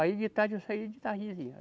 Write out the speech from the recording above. Aí de tarde eu saía de tardezinha.